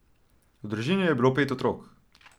V družini je bilo pet otrok.